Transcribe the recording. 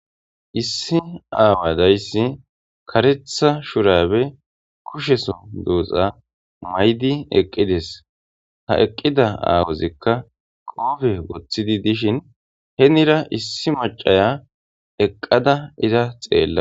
Issi awadaysi karetha shurabe kusheso duxa maydi eqides ha eqida awazika highqoofe woththidi dishin henira issi mac'aya eqada iza xela.